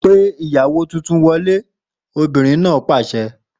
Pe ìyàwó tuntun wọlé! Obìnrin náà pàṣẹ.